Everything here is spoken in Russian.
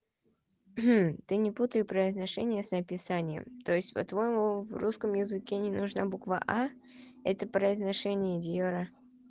ты не путай произношение с описанием то есть по-твоему в русском языке не нужна буква а это произношение дьёра